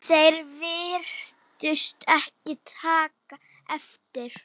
Þeir virtust ekki taka eftir